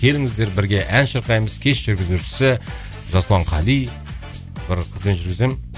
келіңіздер бірге ән шырқаймыз кеш жүргізушісі жасұлан қали бір қызбен жүргіземін